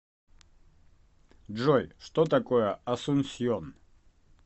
джой что такое асунсьон